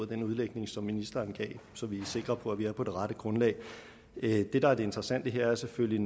den udlægning som ministeren gav så vi er sikre på at vi er på det rette grundlag det der er det interessante her er selvfølgelig